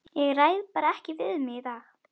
Ég ræð bara ekki við mig í dag.